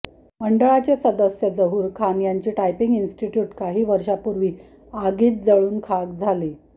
मंडळाचे सदस्य जहूर खान यांची टायपिंग इन्स्टिटय़ूट काही वर्षांपूर्वी आगीत जळून खाक झाली